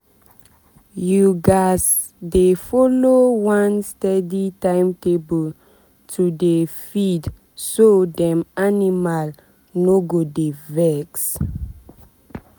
you gats dey follow one steady timetable to dey feedso dem animal animal no go dey vex.